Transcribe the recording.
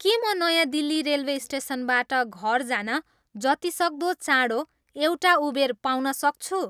के म नयाँ दिल्ली रेल्वे स्टेसनबाट घर जान जतिसक्दो चाँडो एउटा उबेर पाउन सक्छु